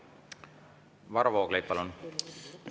Varro Vooglaid, palun!